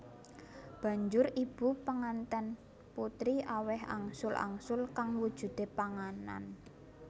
Banjur ibu penganten putri aweh angsul angsul kang wujude panganan